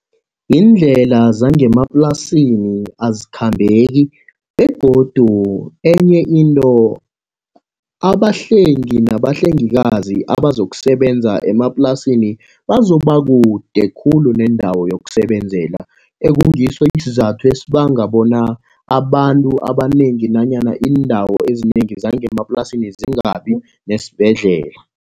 Yindlela zangemaplasini azikhambeki, begodu enye into abahlengi nabahlengikazi abazokusebenza emaplasini bazoba kude khulu neendawo yokusebenzela. Ekungiso isizathu esibanga bona abantu abanengi nanyana iindawo ezinengi zangemaplasini zingabi nesibhedlela.